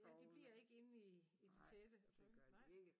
Ja de bliver ikke inde i i det tætte okay nej